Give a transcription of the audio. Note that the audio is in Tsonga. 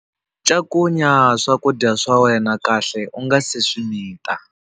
Cakunya swakudya swa wena kahle u nga si swi mita.